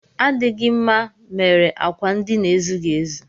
Adịghị na mma mere akwa ndina ezughị ezu